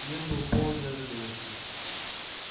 мир был полон неожиданностей